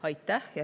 Aitäh!